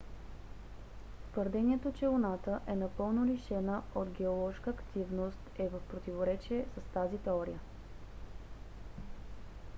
твърдението че луната е напълно лишена от геоложка активност е в противоречие с тази теория